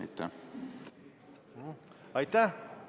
Aitäh!